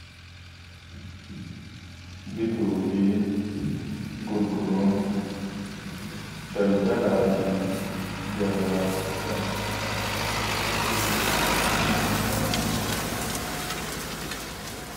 Bituufi gurguruun daaldalaafi gabaa jedhama.